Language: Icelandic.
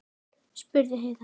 spurði Heiða.